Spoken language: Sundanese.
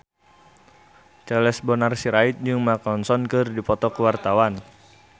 Charles Bonar Sirait jeung Mark Ronson keur dipoto ku wartawan